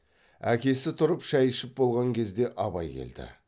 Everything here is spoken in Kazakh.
әкесі тұрып шай ішіп болған кезде абай келді